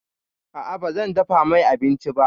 A'a, bazan dafa mai abinci ba.